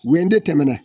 Woyo de tɛmɛna